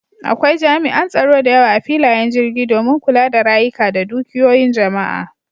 Akwai jami'an tsaro da yawa a filayen jirgi domin kula da rayuka da dukiyoyin jama'a.